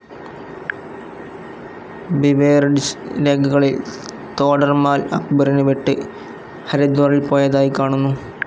Beveridge രേഖകളിൽ തോഡർമാൽ അക്ബറിനെ വിട്ട് ഹരിദ്വാറിൽ പോയതായി കാണുന്നു.